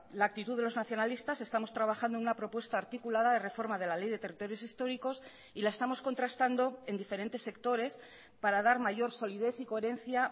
la actitud de los nacionalistas estamos trabajando en una propuesta articulada de reforma de la ley de territorios históricos y la estamos contrastando en diferentes sectores para dar mayor solidez y coherencia